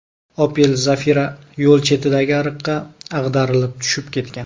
Opel Zafira yo‘l chetidagi ariqqa ag‘darilib tushib ketgan.